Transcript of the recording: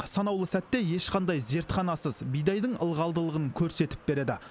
санаулы сәтте ешқандай зертханасыз бидайдың ылғалдылығын көрсетіп береді